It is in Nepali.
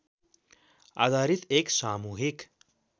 अधारित एक सामूहिक